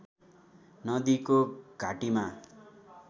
नदीको घाटीमा